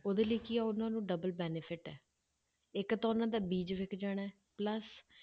ਉਹਦੇ ਲਈ ਕੀ ਉਹਨਾਂ ਨੂੰ double benefit ਹੈ, ਇੱਕ ਤਾਂ ਉਹਨਾਂ ਦਾ ਬੀਜ਼ ਵਿੱਕ ਜਾਣਾ ਹੈ plus